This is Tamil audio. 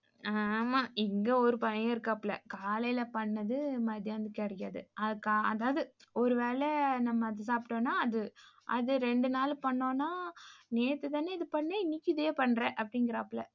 ஆமா இங்க ஒரு பையன் இருக்காப்புல காலைல பண்ணது மத்தியானத்துக்கு கிடைக்காது. அதாது ஒருவேல நம்ம சாப்டோம்னா அது அது ரெண்டு நாள் பன்னோமணா நேத்து தான இது பண்ண இனிக்கும் இதே பண்ற அப்படிங்குறாப்புல